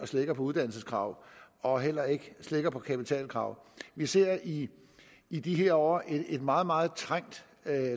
slækker på uddannelseskravet og heller ikke slækker på kapitalkravet vi ser i i de her år et meget meget trængt